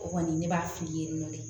O kɔni ne b'a fili yen nɔ de